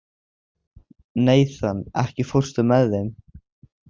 Nathan, ekki fórstu með þeim?